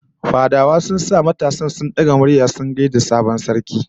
Fadawa sun sa matasan sun daga murya sun gaida sarki